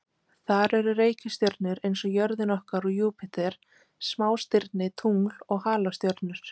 Þar eru reikistjörnur eins og jörðin okkar og Júpíter, smástirni, tungl og halastjörnur.